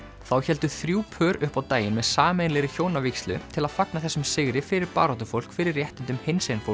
þá héldu þrjú pör upp á daginn með sameiginlegri hjónavígslu til að fagna þessum sigri fyrir baráttufólk fyrir réttindum